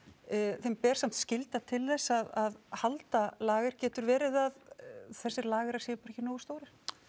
þeim ber samt skylda til þess að halda lager getur verið að þessir lagerar séu bara ekki nógu stórir